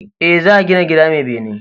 E, za gina gida mai bene.